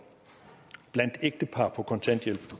og blandt ægtepar på kontanthjælp